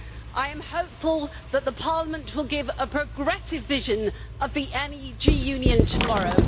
I am hopeful that Parliament will give a progressive vision of the Energy Union tomorrow.